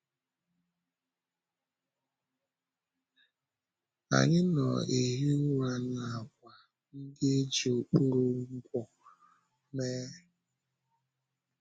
Anyị na-ehi ụra n’àkwà ndị e ji okporo ngwọ mee.